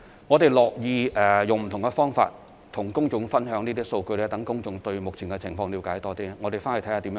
我們樂意以不同方法與公眾分享這些數據，讓公眾對目前的情況了解更多。